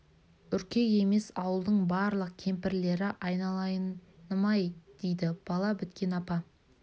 үркек емес ауылдың барлық кемпірлері айналайыным-ай дейді бала біткен апа